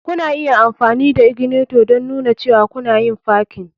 Kuna iya amfani da ignitor don nuna cewa kuna yin parking.